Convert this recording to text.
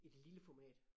Et lille format